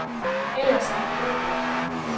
Ellers er han god nok.